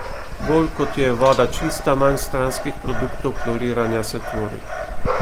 Bolj kot je voda čista, manj stranskih produktov kloriranja se tvori.